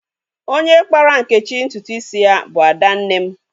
Onye kpara Nkechi ntụtụ isi ya bu Adanne m.